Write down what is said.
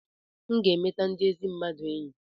m ga-emeta ndị ezi mmadụ enyi